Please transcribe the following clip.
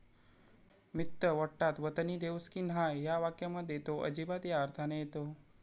मित्त्य वट्टात वतनी देऊसकी न्हाय' या वाक्यामध्ये तो 'अजिबात' या अर्थाने येतो.